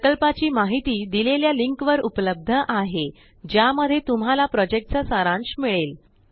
प्रकल्पाची माहिती देलेल्या लिंक वर उपलब्ध httpspoken tutorialorgWhat is a spoken Tutorialhttpspoken tutorialorgWhat ज्या मध्ये तुम्हाला प्रोजेक्टचा सारांश मिळेल